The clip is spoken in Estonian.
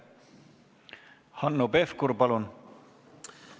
Hanno Pevkur, palun!